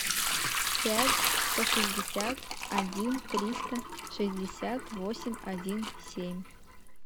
пять сто шестьдесят один триста шестьдесят восемь один семь